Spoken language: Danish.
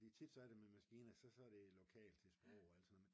fordi tit så er det med maskiner så så er det lokalt til sprog altså